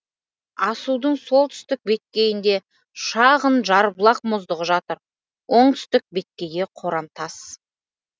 асудың солтүстік беткейінде шағын жарбұлақ мұздығы жатыр оңтүстік беткейі қорымтас